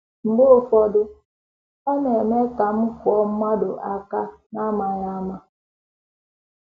Mgbe ụfọdụ, ọ na - eme ka m kụọ mmadụ aka n’amaghị ama.